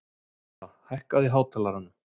Heba, hækkaðu í hátalaranum.